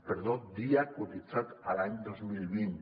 perdó dia cotitzat l’any dos mil vint